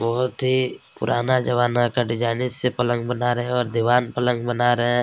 बहुत ही पुराना जमाना का डिजाइनिश से पलंग बना रहै हैं और दीवान पलंग बना रहै हैं।